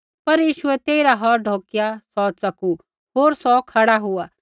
पर यीशुऐ तेइरा हौथ ढोकिया सौ च़कू होर सौ खड़ा हुआ